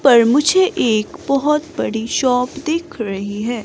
पर मुझे एक बहोत बड़ी शॉप दिख रही है।